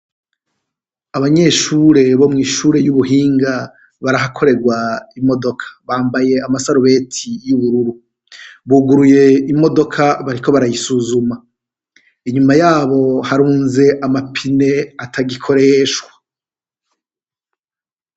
Abanyeshure bo mw'ishure y'ubuhinga barahakoregwa imodoka, bambaye amasarubeti y'ubururu, buguruye imodoka bariko barayisuzuma, inyuma yabo harunze amapine atagikoreshwa.